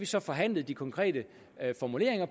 så forhandlet de konkrete formuleringer